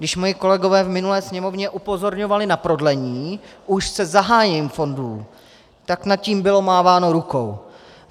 Když moji kolegové v minulé Sněmovně upozorňovali na prodlení už se zahájením fondů, tak nad tím bylo máváno rukou.